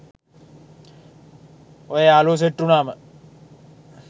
ඔය යාළුවො සෙට් උනාම